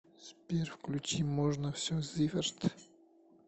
сбер включи можно все зиверт